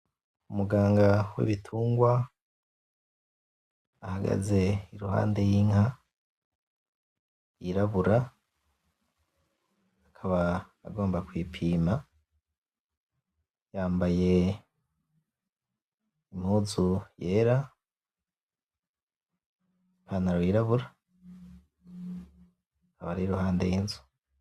Umuganga w'ibitungwa ahagaze iruhande y'inka yirabura akaba agomba kuyipima yambaye impuzu yera n'ipantaro yirabura akaba ari iruhande y'inzu.